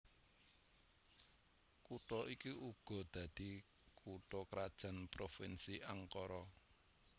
Kutha iki uga dadi kutha krajan Provinsi Ankara